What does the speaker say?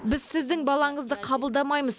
біз сіздің балаңызды қабылдамаймыз